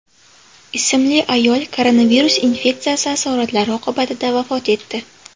ismli ayol koronavirus infeksiyasi asoratlari oqibatida vafot etdi.